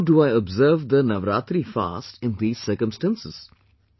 How do I observe the Navaraatri fast in these circumstances